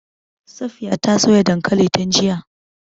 Safiya ta soya dankalin tun jiya.